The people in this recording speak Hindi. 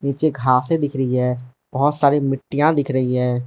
नीचे घासें दिख रही है बहुत सारी मिट्टीयाँ दिख रही है।